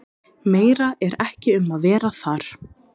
Meira er ekki um að vera þar.